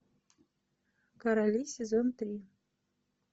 короли сезон три